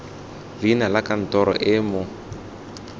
leina la kantoro e mo